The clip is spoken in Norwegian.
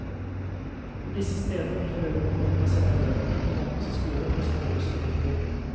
På disse stedene vil forøvrig kommunene sende elevene til nærmeste skole for å spare bussutgifter.